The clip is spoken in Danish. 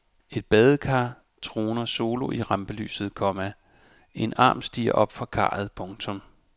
Et badekar troner solo i rampelyset, komma en arm stiger op fra karret. punktum